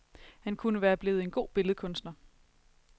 Han kunne være blevet en god billedkunstner.